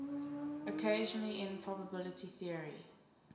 occasionally in probability theory